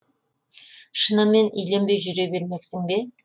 шынымен үйленбей жүре бермексің бе